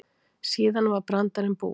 Síðan var brandarinn búinn.